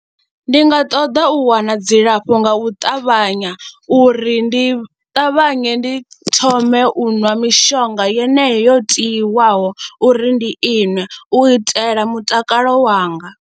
Ndi nga ṱoḓa u wana dzilafho nga u ṱavhanya uri ndi ṱavhanye ndi thome u ṅwa mishonga yeneyo yo tiwaho uri ndi iṅwe u itela mutakalo wanga.